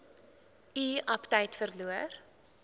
u aptyt verloor